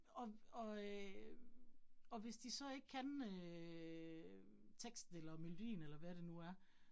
Og og øh og hvis de så ikke kan øh teksten eller melodien eller hvad det nu er